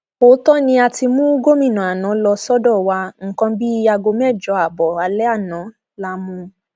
òótọ ni a ti mú gómìnà àná lọ sọdọ wa nǹkan bíi aago mẹjọ ààbọ alẹ àná la mú un